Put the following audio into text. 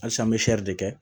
Halisa an bɛ de kɛ